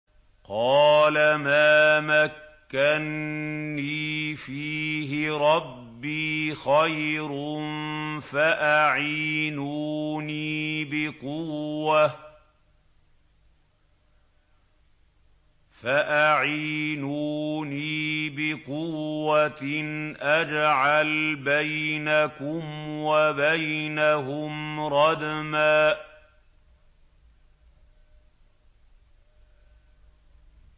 قَالَ مَا مَكَّنِّي فِيهِ رَبِّي خَيْرٌ فَأَعِينُونِي بِقُوَّةٍ أَجْعَلْ بَيْنَكُمْ وَبَيْنَهُمْ رَدْمًا